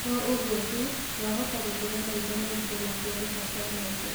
To ũguo tu, wahota gũtũma maitho maimbe nakwerũha kwa maitho